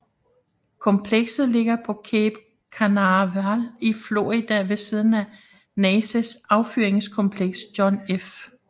Komplekset ligger på Cape Canaveral i Florida ved siden af NASAs affyringskompleks John F